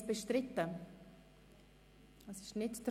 Abstimmung (Art. 52 Abs. 3;